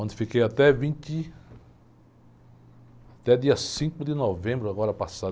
Onde fiquei até vinte... Até dia cinco de novembro, agora passado